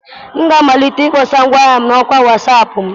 M ga-amalite ịkpọsa ngwaahịa m na ọkwa Wasap m.